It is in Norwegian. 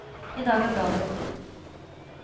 I dag er bladet gått inn.